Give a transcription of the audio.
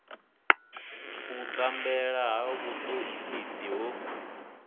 u tambela ha vhutoisisi ho